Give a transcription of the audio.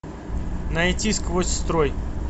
найти сквозь строй